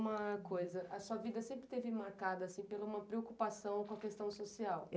Uma coisa, a sua vida sempre esteve marcada assim pela uma preocupação com a questão social.